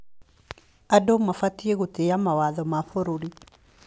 Andũ mabatiĩ gũtĩa mawatho ma bũrũri.